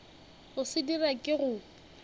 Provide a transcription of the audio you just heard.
go se dira ke go